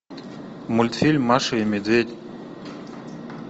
мультфильм маша и медведь